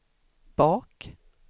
bak